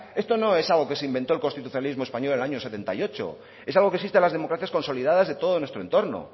esto no es algo que se inventó el constitucionalismo español en el año setenta y ocho es algo que existe a las democracias consolidadas de todo nuestro entorno